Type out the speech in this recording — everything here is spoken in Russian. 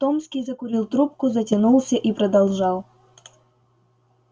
томский закурил трубку затянулся и продолжал